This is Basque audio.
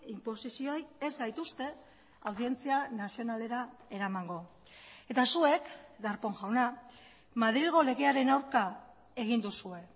inposizioei ez gaituzte audientzia nazionalera eramango eta zuek darpón jauna madrilgo legearen aurka egin duzue